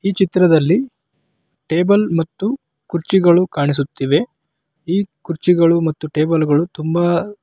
ಈ ಚಿತ್ರದಲ್ಲಿ ಟೇಬಲ್‌ ಮತ್ತು ಕುರ್ಚಿಗಳು ಕಾಣಿಸುತ್ತಿವೆ ಈ ಕುರ್ಚಿಗಳು ಮತ್ತು ಟೇಬಲ್‌ ಗಳು ತುಂಬಾ --